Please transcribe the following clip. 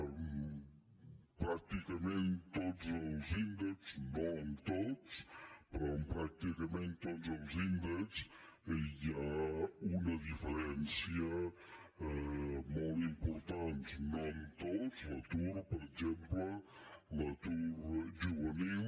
en pràcticament tots els índexs no en tots però en pràcticament tots els índexs hi ha una diferència molt important no en tots l’atur per exemple l’atur juvenil